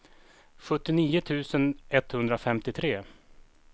sjuttionio tusen etthundrafemtiotre